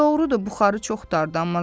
Doğrudur, buxarı çox dardı.